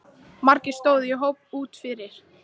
Margir stóðu í hópum úti fyrir.